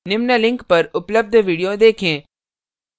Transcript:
निम्न link पर उपलब्ध video देखें